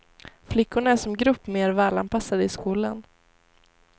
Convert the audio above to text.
Flickorna är som grupp mer välanpassade i skolan.